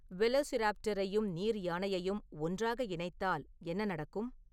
வெலோசிராப்டரையும் நீர்யானையையும் ஒன்றாக இணைத்தால் என்ன நடக்கும்